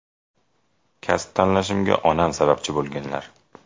Kasb tanlashimga onam sababchi bo‘lganlar.